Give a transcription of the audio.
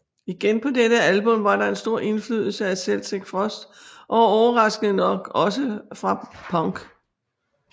Igen på dette album var der en stor indflydelse fra Celtic Frost og overraskende nok også fra punk